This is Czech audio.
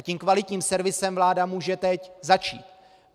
A tím kvalitním servisem vláda může teď začít.